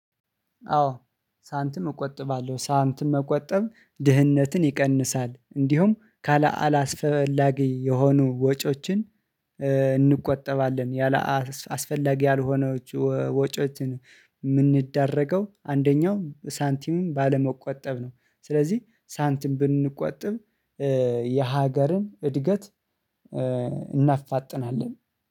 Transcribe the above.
አዎ ሳንቲም እቆጥባለው ሳንቲም መቆጠብ ድህነትን ይቀንሳል እንዲሁም ካላስፈላጊ አስፈላጊ የሆነ ወጪዎች። እንቆጠባለን። አስፈላጊ የሆኑ ወጪዎች ወጪዎችን። ምንዳረገው አንደኛው ሳንቲም ባለመቆጠብ ነው። ስለዚ ሳንቲም ብንቆጥብ። የሀገርን እድገት እናፋጥናለን